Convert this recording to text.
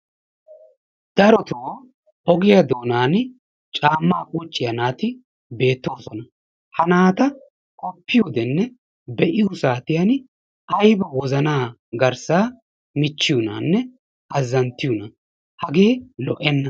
Darottoo ogiya woykko caammaa qucciya naati beettoosona. Ha naata qoppiyodenne be'iyo saatiyan ayba wozanaa garssaa michchiyonaanne azzanttiyonaa, hagee lo"enna.